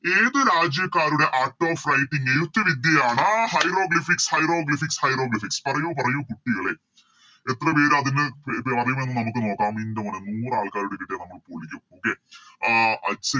ഏത് രാജ്യക്കാരുടെ Art of writing എഴുത്ത് വിദ്യയാണ് Hieroglyphics hieroglyphics hieroglyphics പറയു പറയു കുട്ടികളെ എത്ര പേര് അതിന് ഇത് അറിയുമെന്ന് നമുക്ക് നോക്കാം ഇന്റോനെ നൂറ് ആൾക്കാരൂടെ കിട്ടിയാൽ നമ്മള് പൊളിക്കും Okay ആഹ്